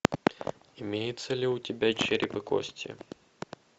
имеется ли у тебя череп и кости